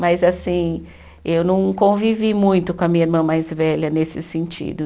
Mas assim, eu não convivi muito com a minha irmã mais velha nesse sentido.